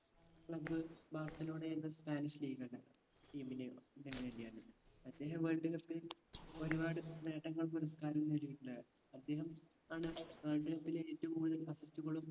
club Barcelona എന്ന spanish league ആണ് team നെ വേണ്ടിയാണ് അദ്ദേഹം world cup ൽ ഒരുപാട് നേട്ടങ്ങൾ പുരസ്‌കാരങ്ങൾ നേടിയിട്ടുണ്ട് അദ്ദേഹം ആണ് ഏർ world cup ലെ ഏറ്റവും കൂടുതൽ കളും